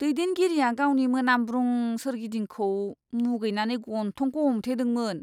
दैदेनगिरिआ गावनि मोनामब्रुं सोरगिदिंखौ मुगैनानै गन्थंखौ हमथेदोंमोन!